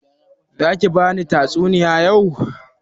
Za ki bani tatsuniya yau?